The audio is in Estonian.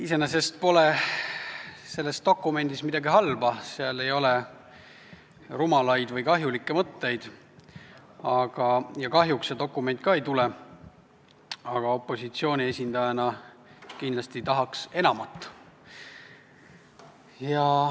Iseenesest pole selles dokumendis midagi halba, seal ei ole rumalaid või kahjulikke mõtteid ja kahjuks see dokument ka ei tule, aga opositsiooni esindajana tahaks kindlasti enamat.